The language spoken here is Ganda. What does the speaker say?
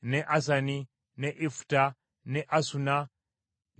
n’e Ifuta n’e Asuna, n’e Nezibu,